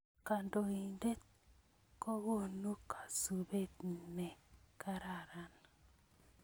Kandoinatet kokonu kasubet me kararan